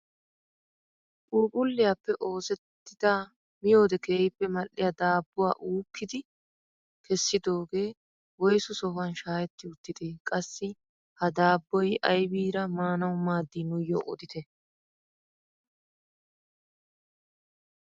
Puuphphuliyaappe oosettida miyoode keehippe mal"iyaa dabbuwaa uukkidi keesidoogee woyssu sohuwaan shaahetti uttidee? qassi ha daabboy aybiira maanawu maaddii nuuyoo odite?